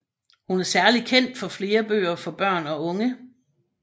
Hun er særlig kendt for flere bøger for børn og unge